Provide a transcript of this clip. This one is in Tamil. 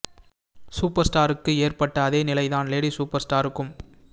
சூப்பர் ஸ்டாருக்கு ஏற்பட்ட அதே நிலை தான் லேடி சூப்பர் ஸ்டாருக்கும்